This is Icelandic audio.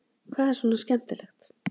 Hvað er svona skemmtilegt?